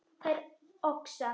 Þær oxa